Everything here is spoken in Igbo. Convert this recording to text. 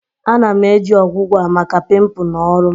Ana-eji ọgwụgwọ a maka pimpu na ọrụ m